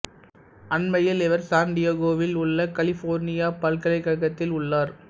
அண்மையில் இவர் சான் டியேகோவில் உள்ள கலிபோர்னியா பல்கலைக்கழகத்தில் உள்ளார்